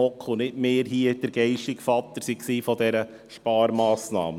Nicht wir im Grossen Rat waren geistiger Vater dieser Sparmassnahme.